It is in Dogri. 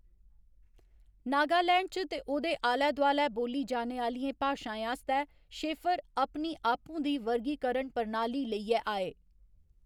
नागालैंड च ते ओह्‌‌‌दे आलै दोआलै बोल्ली जाने आह्‌‌‌लियें भाशाएं आस्तै शेफर अपनी आपूं दी वर्गीकरण प्रणाली लेइयै आए।